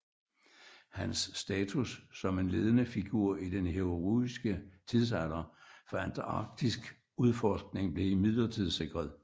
Hans status som en ledende figur i den heroiske tidsalder for antarktiskudforskning blev imidlertid sikret